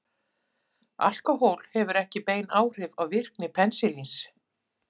Alkóhól hefur ekki bein áhrif á virkni penisilíns.